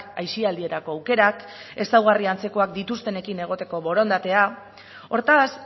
aisialdirako aukerak ezaugarri antzekoak dituztenekin egoteko borondatea hortaz